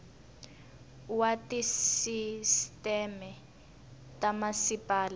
wa tisisteme ta ka masipala